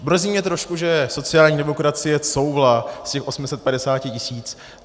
Mrzí mě trošku, že sociální demokracie couvla z těch 850 tisíc.